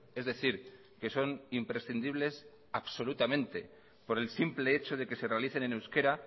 es decir que son imprescindibles absolutamente por el simple hecho de que se realicen en euskera